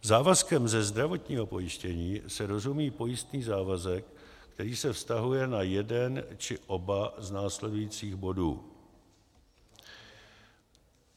Závazkem ze zdravotního pojištění se rozumí pojistný závazek, který se vztahuje na jeden či oba z následujících bodů.